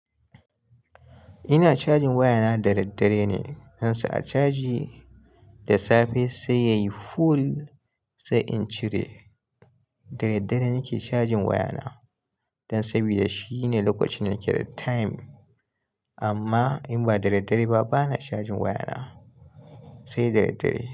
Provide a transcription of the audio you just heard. Ina cajin wayana da daddare ne. Dan sa a caji da safe sai yayi full sai in cire. Da daddare nake cajin wayana. Dan sabida shine lokacin nake da time. Amma in ba da daddare ba bana cajin wayana, sai da daddare.